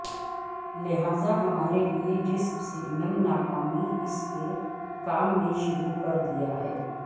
لہذا ہمارے لئے جسم سگنل ناکامی اس کے کام میں شروع کر دیا ہے